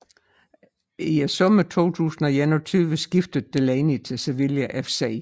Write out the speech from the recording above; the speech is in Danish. I sommeren 2021 skiftede Delaney til Sevilla FC